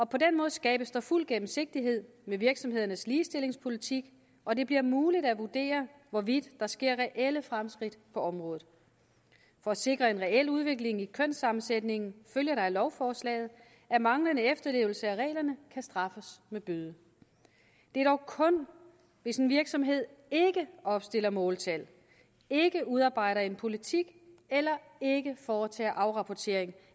på den måde skabes der fuld gennemsigtighed i virksomhedernes ligestillingspolitik og det bliver muligt at vurdere hvorvidt der sker reelle fremskridt på området for at sikre en reel udvikling i kønssammensætningen følger det af lovforslaget at manglende efterlevelse af reglerne kan straffes med bøde det er dog kun hvis en virksomhed ikke opstiller måltal ikke udarbejder en politik eller ikke foretager afrapportering